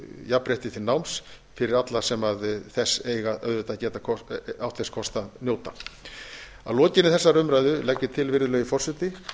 jafnrétti til náms fyrir alla sem þess eiga auðvitað átt þess kost að njóta að lokinni þessari umræðu legg ég til virðulegi forseti að